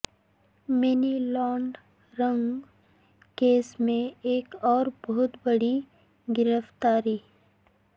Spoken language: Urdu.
منی لانڈرنگ کیس میں ایک اور بہت بڑی گرفتاری